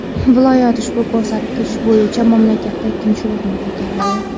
Viloyat ushbu ko‘rsatkich bo‘yicha mamlakatda ikkinchi o‘rinni egalladi.